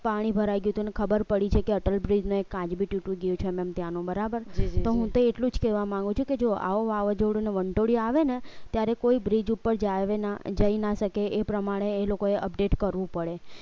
પાણી ભરાય ગયું તું ખબર પડી છે કે અટલબિજ ને એક કાચ ભી તૂટી ગયો હતો બરાબર છે તો હું તે એટલું જ કહેવા માગું છું કે જો આવો વાવાઝોડું વંટોયુ આવે ને ત્યારે કોઈ બ્રિજ ઉપર જાવે ના જઈ ના શકે એ પ્રમાણે એ લોકોએ update કરવું પડે